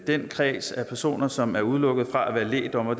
den kreds af personer som er udelukket fra at være lægdommer